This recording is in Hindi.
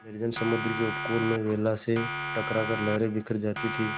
निर्जन समुद्र के उपकूल में वेला से टकरा कर लहरें बिखर जाती थीं